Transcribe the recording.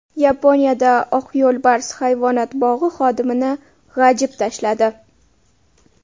Yaponiyada oq yo‘lbars hayvonot bog‘i xodimini g‘ajib tashladi.